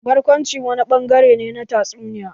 Barkwanci wani ɓangare ne na tatsuniyoyi.